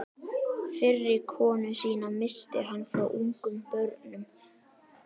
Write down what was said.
Fyrri konu sína missti hann frá ungum börnum.